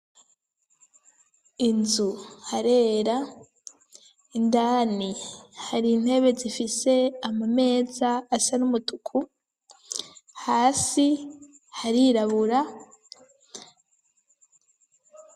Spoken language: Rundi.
Inzu harera indani hari intebe zifise ama meza asa n'umutuku hasi harirabura.